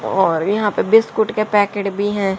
और यहां पे बिस्कुट के पैकेट भी है।